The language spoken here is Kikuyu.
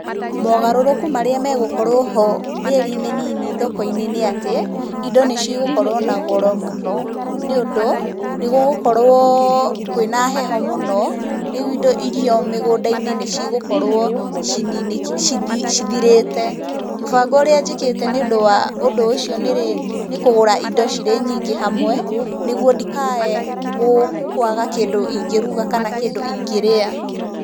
Mogarũrũku marĩa megũkorwo ho mĩeri mĩnini thoko-inĩ nĩ atĩ, indo nĩ cigũkorwo na goro mũno nĩũndũ nĩ gũgũkorwo kwĩna heho mũno, rĩu irio mĩgũnda-inĩ nĩ cigũkorwo cithirĩte. Mũbango ũrĩa njĩkĩte nĩ ũndũ wa ũndũ ũcio nĩ rĩrĩ, nĩ kũgũra indo cirĩ nyingĩ hamwe nĩ guo ndikae kwaga kĩndũ ingĩruga kana kĩndũ ingĩrĩa.